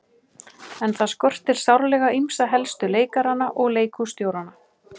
En það skortir sárlega ýmsa helstu leikarana og leikhússtjórana.